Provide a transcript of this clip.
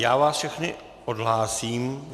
Já vás všechny odhlásím.